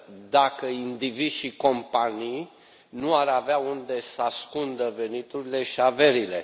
dacă indivizi și companii nu ar avea unde să ascundă veniturile și averile.